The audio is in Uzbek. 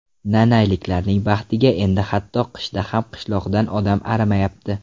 Nanayliklarning baxtiga endi hatto qishda ham qishloqdan odam arimayapti.